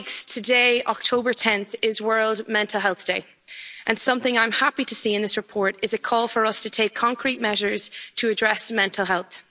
Today, 10 October, is World Mental Health Day, and something I'm happy to see in this report is a call for us to take concrete measures to address mental health.